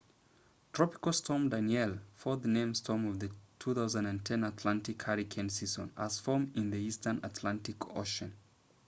tropical storm danielle fourth named storm of the 2010 atlantic hurricane season has formed in the eastern atlantic ocean